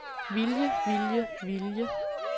vilje vilje vilje